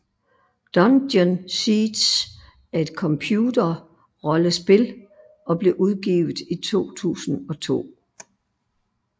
Dungeon Siege er et computerrollespil og blev udgivet i 2002